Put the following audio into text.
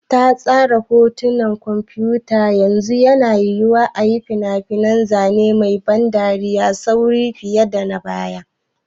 Ta tsara hotunan kwamfuta, yanzu yana yiwuwa a yi fina-finan zane mai ban dariya da sauri fiye da na baya.